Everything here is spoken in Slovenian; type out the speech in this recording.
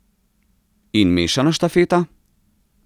In mešana štafeta?